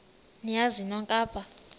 niyazi nonk apha